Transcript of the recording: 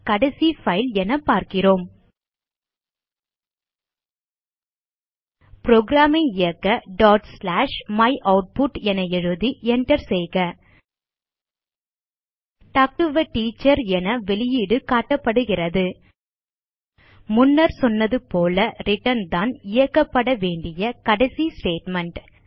கடைசி பைல் என பார்க்கிறோம் புரோகிராம் ஐ இயக்க டாட் ஸ்லாஷ் மையூட்புட் என எழுதி Enter செய்க டால்க் டோ ஆ டீச்சர் என வெளியீடு காட்டப்படுகிறது முன்னர் சொன்னது போல ரிட்டர்ன் தான் இயக்கப்பட வேண்டிய கடைசி ஸ்டேட்மெண்ட்